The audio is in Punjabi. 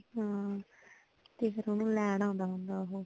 ਹੱਮ ਤੇ ਫਿਰ ਉਹਨੂੰ ਲੈਣ ਆਉਂਦਾ ਹੁੰਦਾ ਉਹੋ